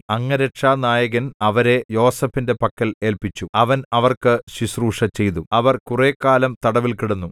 അംഗരക്ഷാനായകൻ അവരെ യോസേഫിന്റെ പക്കൽ ഏല്പിച്ചു അവൻ അവർക്ക് ശുശ്രൂഷചെയ്തു അവർ കുറെക്കാലം തടവിൽ കിടന്നു